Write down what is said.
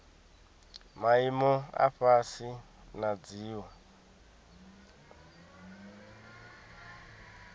maimo a fhasi na dziwe